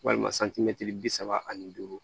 Walima santimɛtiri bi saba ani duuru